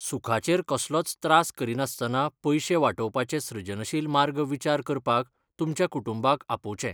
सुखाचेर कसलोच त्रास करिनासतना पयशे वाटोवपाचे सृजनशील मार्ग विचार करपाक तुमच्या कुटुंबाक आपोवचें.